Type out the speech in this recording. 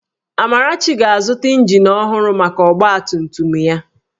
Amarachi ga-azụta ịnjin ọhụrụ maka ọgbatumtum ya